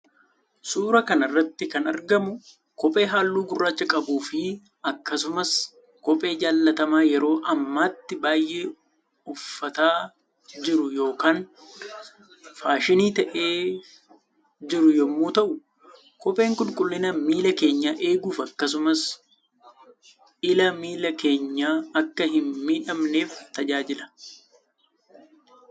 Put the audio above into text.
Suura kana irratti kan argamu kophee halluu gurraacha qabuu fi akkasumas kophee jallatama yeroo ammatti baay'ee uffataa jiru yookaan faashinii ta'eef jiru yommuu ta'u kopheen qulqullina miila keenya eeguuf akkasumas illa miili keenya akka hin miidhamneef tajaajila